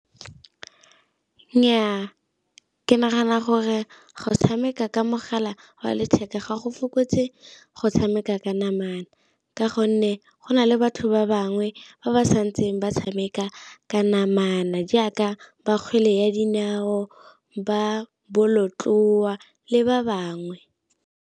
Nnyaa ke nagana gore go tshameka ka mogala wa letheka ga go fokotse go tshameka ka namana, ka gonne go na le batho ba bangwe ba ba sa ntseng ba tshameka ka namana jaaka ba kgwele ya dinao, ba bolotloa le ba bangwe.